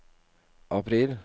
april